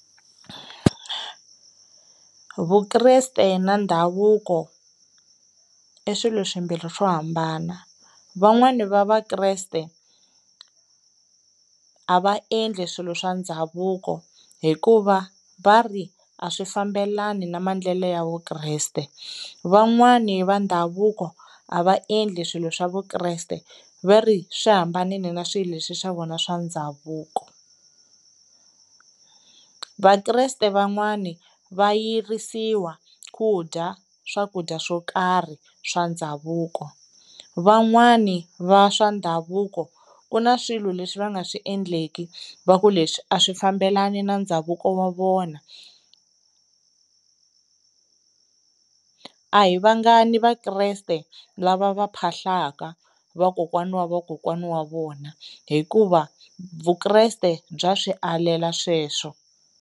Vukreste na ndhavuko i swilo swimbhiri swo hambana van'wani va Vakreste a va endli swilo swa ndhavuko hikuva va ri a swi fambelani na maendlelo ya Vukriste, van'wani va ndhavuko a va endli swilo swa Vukreste va ri swi hambanile na swilo leswi swa vona swa ndhavuko. Vakreste van'wani va yirisiwa ku dya swakudya swo karhi swa ndhavuko, van'wani va swa ndhavuko ku na swilo leswi va nga swi endleki va ku leswi a swi fambelani na ndhavuko wa vona a hi vangani Vakreste lava va phahlaka vakokwana wa vakokwana wa vona hikuva Vukreste bya swi alela sweswo.